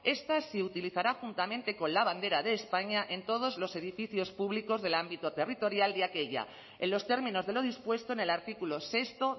esta se utilizará juntamente con la bandera de españa en todos los edificios públicos del ámbito territorial de aquella en los términos de lo dispuesto en el artículo sexto